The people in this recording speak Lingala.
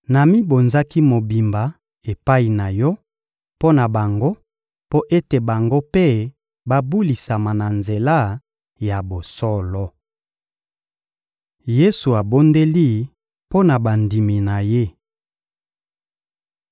Namibonzaki mobimba epai na Yo mpo na bango, mpo ete bango mpe babulisama na nzela ya bosolo. Yesu abondeli mpo bandimi na Ye